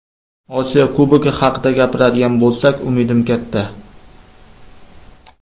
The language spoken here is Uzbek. Osiyo Kubogi haqida gapiradigan bo‘lsak umidim katta.